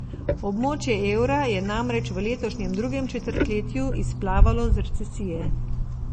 Območje evra je namreč v letošnjem drugem četrtletju izplavalo z recesije.